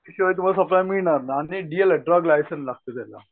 त्याशिवाय तुम्हांला सप्लायर मिळणार नाहीं आणि डी एल ड्रग लायसन लागतं त्याला.